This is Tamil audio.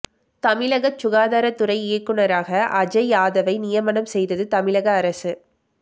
தமிழக சுகாதாரத்துறை இயக்குநராக அஜய் யாதவை நியமனம் செய்தது தமிழக அரசு